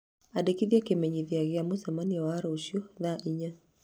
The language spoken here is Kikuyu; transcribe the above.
Andĩka kĩmenyithia gĩa mũcemanio wa rũciũ thaa inya